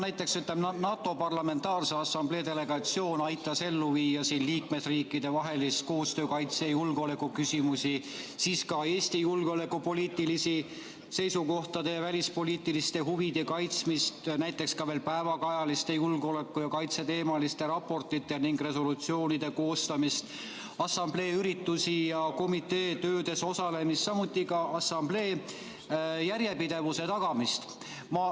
Näiteks, NATO Parlamentaarse Assamblee delegatsioon aitas ellu viia liikmesriikide vahel koostööd kaitse- ja julgeolekuküsimustes, ka Eesti julgeolekupoliitiliste seisukohtade ja välispoliitiliste huvide kaitsmist, näiteks ka veel päevakajaliste julgeoleku- ja kaitseteemaliste raportite ning resolutsioonide koostamist, assamblee üritusi ja komitee töödes osalemist, samuti assamblee järjepidevuse tagamist.